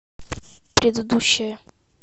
предыдущая